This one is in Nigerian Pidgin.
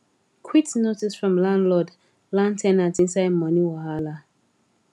quit notice from landlord land ten ant inside money wahala